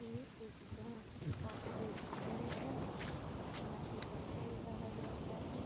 ये एक बैंक का ए.टी.एम. है यहाँ से पैसा निकाला जाता है।